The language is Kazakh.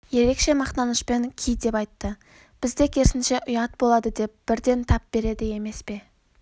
ерекше мақтанышпен ки деп айтты бізде керісінше ұят болады деп бірден тап береді емес пе